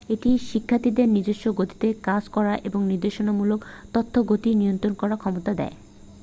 এটি শিক্ষার্থীদের নিজস্ব গতিতে কাজ করার এবং নির্দেশমূলক তথ্যের গতি নিয়ন্ত্রণ করার ক্ষমতা দেয়